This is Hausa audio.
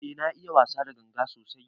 Eh na iya wasa da ganga sosai.